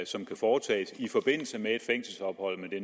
som kan foretages i forbindelse med et fængselsophold men